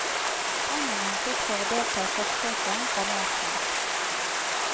Pengene han fikk for å delta i forsøket, ga mersmak.